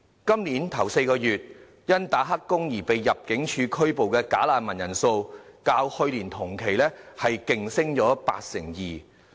今年首4個月，因"打黑工"而被入境處拘捕的"假難民"人數，較去年同期飆升八成二。